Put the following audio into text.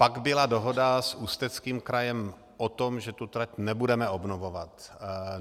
Pak byla dohoda s Ústeckým krajem o tom, že tu trať nebudeme obnovovat.